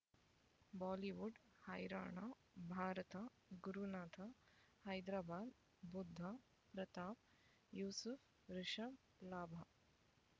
Bollywood ಹೈರಾಣ ಭಾರತ ಗುರುನಾಥ ಹೈದರಾಬಾದ್ ಬುಧ್ ಪ್ರತಾಪ್ ಯೂಸುಫ್ ರಿಷಬ್ ಲಾಭ